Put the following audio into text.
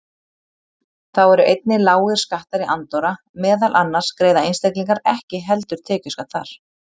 Þá eru einnig lágir skattar í Andorra, meðal annars greiða einstaklingar ekki heldur tekjuskatt þar.